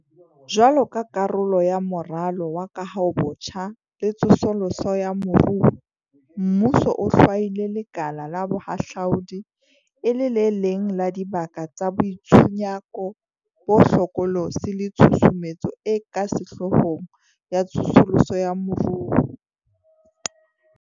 Jwaloka karolo ya Moralo wa Kahobotjha le Tsosoloso ya Moruo, mmuso o hlwaile lekala la bohahlaudi e le le leng la dibaka tsa boitshunyako bo hlokolosi le tshusumetso e ka sehloohong ya tsosoloso ya moruo.